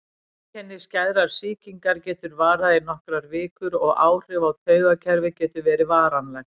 Einkenni skæðrar sýkingar geta varað í nokkrar vikur og áhrif á taugakerfið geta verið varanleg.